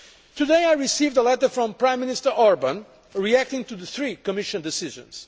Today I received a letter from Prime Minister Orbán, reacting to the three Commission decisions.